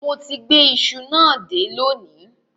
Mo ti gbé iṣu náà dé lónìí